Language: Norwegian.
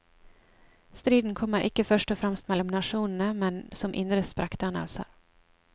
Striden kommer ikke først og fremst mellom nasjonene, men som indre sprekkdannelser.